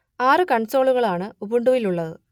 ആറു കൺസോളുകളാണ് ഉബുണ്ടുവിലുള്ളത്